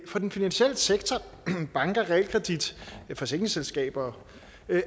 for den finansielle sektor banker og realkredit og forsikringsselskaber